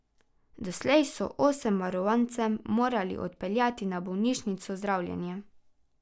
Doslej so osem varovancev morali odpeljati na bolnišnično zdravljenje.